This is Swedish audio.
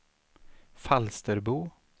Falsterbo